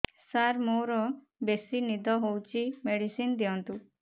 ସାର ମୋରୋ ବେସି ନିଦ ହଉଚି ମେଡିସିନ ଦିଅନ୍ତୁ